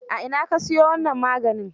A ina ka siyo wannan maganin?